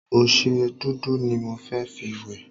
Ọṣẹ dúdú ni mo fẹ́ fi wẹ̀.